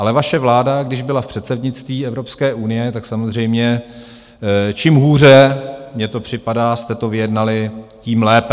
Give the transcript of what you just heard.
Ale vaše vláda, když byla v předsednictví Evropské unie, tak samozřejmě čím hůře - mně to připadá - jste to vyjednali, tím lépe.